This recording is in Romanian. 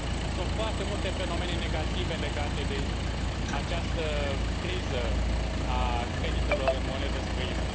Sunt foarte multe fenomene negative legate de această criză a creditelor în monedă străină.